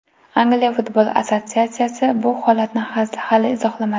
Angliya futbol assotsiatsiyasi bu holatni hali izohlamadi.